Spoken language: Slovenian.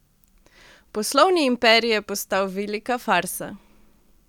Poslovni imperij je postal velika farsa.